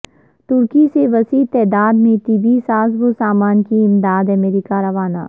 ترکی سے وسیع تعداد میں طبی سازو سامان کی اماداد امریکہ روانہ